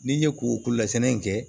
N'i ye ko kolasɛnɛ in kɛ